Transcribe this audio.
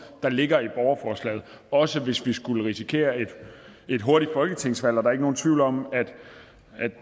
der ligger i borgerforslaget også hvis vi skulle risikere et hurtigt folketingsvalg der er ikke nogen tvivl om at